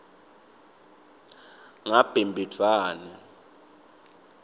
ngabhimbidvwane